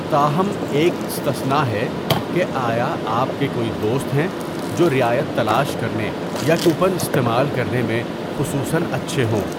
تاہم، ایک استثناء ہے کہ آیا آپ کے کوئی دوست ہیں جو رعایت تلاش کرنے یا کوپن استعمال کرنے میں خصوصا اچھے ہوں۔